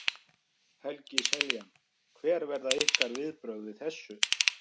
Helgi Seljan: Hver verða ykkar viðbrögð við þessu?